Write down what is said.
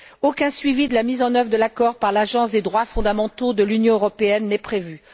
Aucun suivi de la mise en œuvre de l'accord par l'Agence des droits fondamentaux de l'Union européenne n'est prévu.